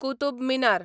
Qutub Minar